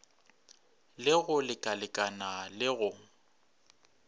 le go lekalekana le go